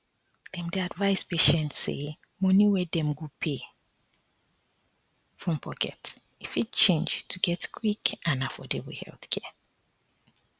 dem dey advise patients say money wey dem go um pay from pocket fit change to get quick and affordable healthcare